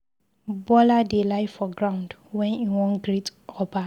Bola dey lie for ground wen he wan greet Oba